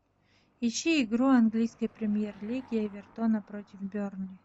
ищи игру английской премьер лиги эвертона против бернли